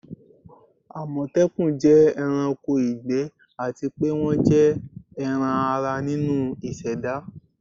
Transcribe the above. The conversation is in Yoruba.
amotekun jẹ ẹranko igbẹ ati pe wọn jẹ ẹran-ara ninu iseda